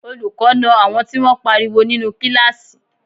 Olùkọ́ na àwọn tí wọ́n pariwo nínú kíláàsì